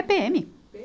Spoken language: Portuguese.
É PêEme.